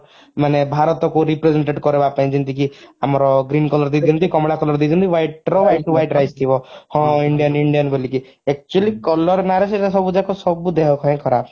ମାନେ ଭାରତ କୁ represent କରିବାପାଇଁ ଯେମିତିକି ଆମର green color ଦେଇଦିଅନ୍ତି କମଳା ଦେଇଦିଅନ୍ତି ଯେମିତି white ର white rice ଥିବ ହଁ indian indian ବୋଲିକି actually color ନା ରେ ସେଟା ସବୁ ଯାକ ସବୁ ଦେହ ପାଇଁ ଖରାପ